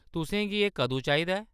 तुसेंगी एह् कदूं चाहिदा ऐ ?